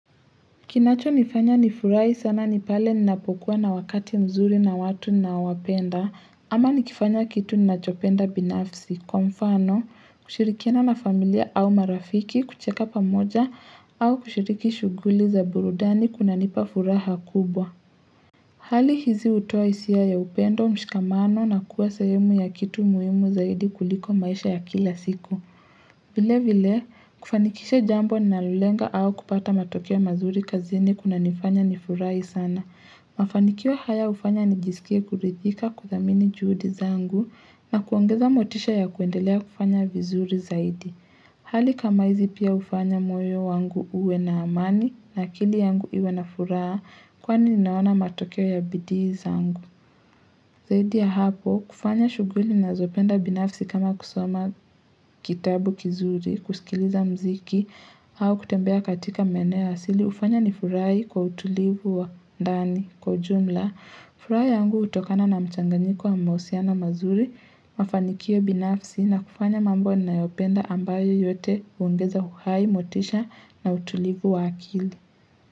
Kinacho nifanya nifurahi sana nipale ninapokuwa na wakati mzuri na watu ninaowapenda ama nikifanya kitu ninachopenda binafsi kwa mfano kushirikiana na familia au marafiki kucheka pamoja au kushiriki shuguli za burudani kuna nipa furaha kubwa Hali hizi hutoa hisia ya upendo mshikamano na kuwa sahemu ya kitu muhimu zaidi kuliko maisha ya kila siku vile vile, kufanikisha jambo ninalolenga au kupata matokeo mazuri kazini kunanifanya nifurahi sana. Mafanikio haya hufanya nijisikie kuridhika kuthamini juhudi zangu na kuongeza motisha ya kuendelea kufanya vizuri zaidi. Hali kama hizi pia hufanya moyo wangu uwe na amani na akili yangu iwe na furaha kwani ninaona matokeo ya bidii zangu. Zaidi ya hapo, kufanya shuguli nazopenda binafsi kama kusoma kitabu kizuri, kusikiliza mziki au kutembea katika maeneo asili, hufanya nifurahi kwa utulivu wa ndani kwa ujumla. Furaha yangu hutokana na mchanganyiko wa mahusiano mazuri, mafanikio binafsi na kufanya mambo ninayopenda ambayo yote huongeza uhai, motisha na utulivu wa akili.